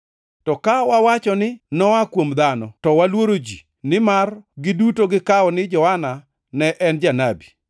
To ka wawacho ni, ‘Noa kuom dhano,’ to waluoro ji nimar giduto gikawo ni Johana ne en janabi.”